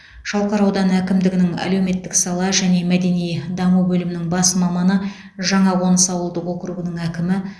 шалқар ауданы әкімдігінің әлеуметтік сала және мәдени даму бөлімінің бас маманы жаңақоныс ауылдық округінің әкімі